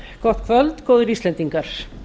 gott kvöld góðir íslendingar